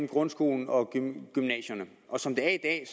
grundskolen og gymnasierne og som det er i